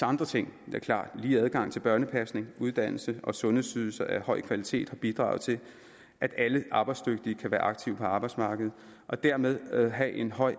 andre ting lige adgang til børnepasning uddannelse og sundhedsydelser af høj kvalitet har bidraget til at alle arbejdsdygtige kan være aktive på arbejdsmarkedet og dermed have en høj